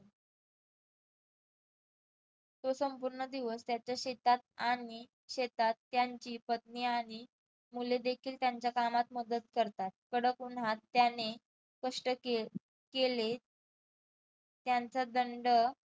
तो संपूर्ण दिवस त्याच्या शेतात आणि शेतात त्यांची पत्नी आणि मुले देखील त्यांच्या कामात मदत करतात. कडक उन्हात त्याने कष्ट केले त्यांचा दंड